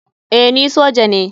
Eh ni soja ne.